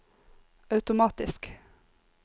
automatisk